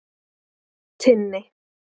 Tinni